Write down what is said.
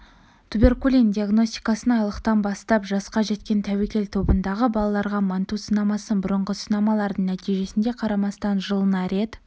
туберкулин диагностикасын айлықтан бастап жасқа жеткен тәуекел тобындағы балаларға манту сынамасын бұрынғы сынамалардың нәтижесіне қарамастан жылына рет